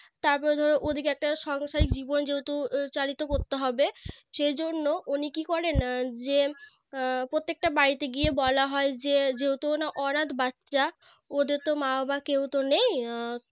তারপরে ধরো ওদিকে একটা সংসারিক জীবন যেহেতু চালিত করতে হবে সেই জন্য উনি কি করেন যে প্রত্যেকটা বাড়িতে গিয়ে বলা হয় যে যে~ যেহেতু ওরা অনাথ বাচ্চা ওদের তো মা বাবা কেউতো নেই